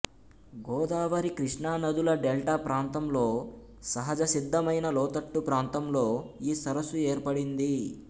గోదావరి కృష్ణా నదుల డెల్టా ప్రాంతంలో సహజసిద్ధమైన లోతట్టు ప్రాంతంలో ఈ సరస్సు ఏర్పడింది